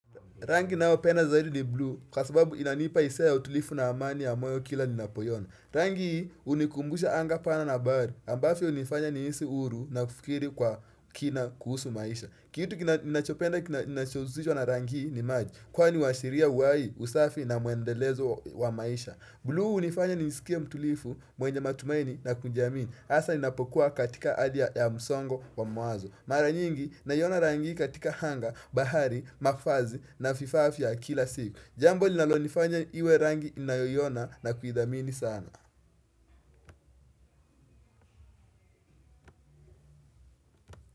Rangi ninayopenda zaidi ni blue, kwa sababu inanipa hisia ya utulifu na amani ya moyo kila ninapoiona. Rangi hii hunikumbusha anga pana na bari, ambazo hunifanya nihisi huru na kufikiri kwa kina kuhusu maisha. Kitu ninachopenda kinachohusishwa na rangi hii ni maji, kwani huashiria uhai, usafi na mwendelezo wa maisha. Blue hunifanya nisikie mtulivu mwenye matumaini na kujiamini, hasa ninapokuwa katika hali ya msongo wa mawazo. Mara nyingi naiona rangi katika anga, bahari, mavazi na vifaa vya kila siku Jambo linaloifanya iwe rangi ninayoiona na kuidhamini sana.